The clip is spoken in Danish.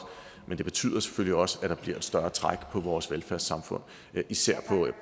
men det betyder selvfølgelig også at der bliver at større træk på vores velfærdssamfund især